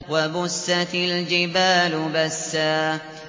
وَبُسَّتِ الْجِبَالُ بَسًّا